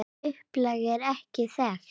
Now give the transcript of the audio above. Upplag er ekki þekkt.